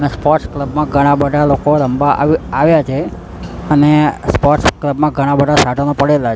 ને sports club માં ઘણા બધા લોકો રમવા આવ આવ્યા છે અને સ્પોર્ટસ ક્લબ માં ઘણા બધા સાધનો પડેલા--